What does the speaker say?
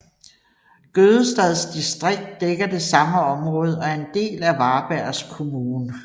Gødestads distrikt dækker det samme område og er en del af Varbergs kommun